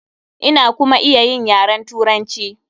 Ina kuma iya yin yaren Turanci.